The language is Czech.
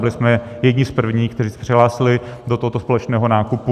Byli jsme jedni z prvních, kteří se přihlásili do tohoto společného nákupu.